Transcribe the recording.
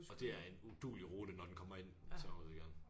Og det er en uduelig rute når den kommer ind og så ud igen